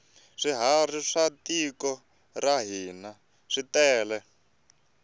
swiharhi swa tiko ra hina switele